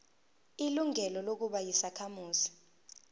ilungelo lokuba yisakhamuzi